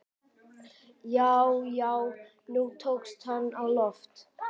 Já, já, nú tókst hann á loft!